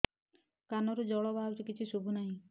କାନରୁ ଜଳ ବାହାରୁଛି କିଛି ଶୁଭୁ ନାହିଁ